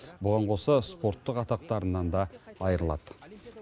бұған қоса спорттық атақтарынан да айырылады